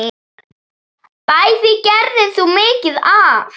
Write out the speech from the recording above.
Bæði gerðir þú mikið af.